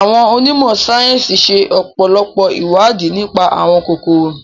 Àwon onímọ̀ sáyẹ́nsì ṣe ọpọlọpọ ìwádìí nipa àwọn kòkòrò